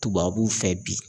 Tubabuw fɛ bi